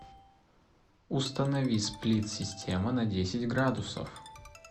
установи сплит система на десять градусов